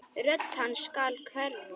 Rödd hans skal hverfa.